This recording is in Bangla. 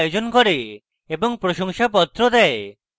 কর্মশালার আয়োজন করে এবং প্রশংসাপত্র দেয়